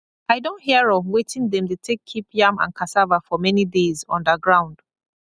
i don hear of wetin dem dey take keep yam and cassava for many days underground